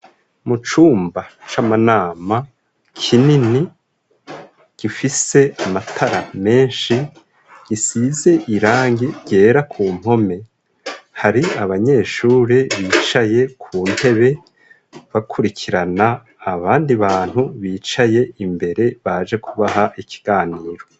Mucumba c'amanama kinini gifise amatara menshi gisize irangi ryera kumpome hari abanyeshuri bicaye kuntebe bakurikirana abandi bantu bicaye imbere baje kubaha ikiganiro.